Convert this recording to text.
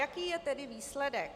Jaký je tedy výsledek?